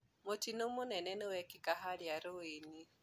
Mũtino mũnene nĩwekĩka harĩa rũĩĩnĩ.